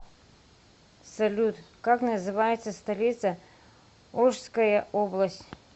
салют как называется столица ошская область